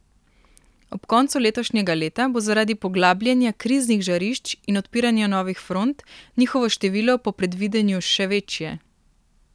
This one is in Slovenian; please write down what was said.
Ob koncu letošnjega leta bo zaradi poglabljanja kriznih žarišč in odpiranja novih front njihovo število po predvidevanju še večje.